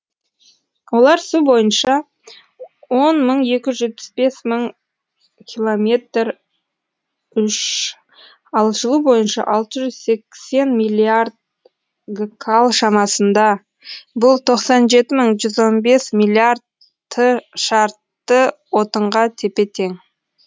олар су бойынша он мың екі жүз жетпіс бес километр ал жылу бойынша алты жүз сексен миллиард гкал шамасында бұл тоқсан жеті жүз он бес миллиард шартты отынға тепе тең